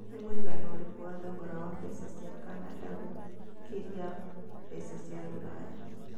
nĩ mũigana ũrikũ wa thogora wa mbeca cia Canada gũkĩria mbeca cia rũraya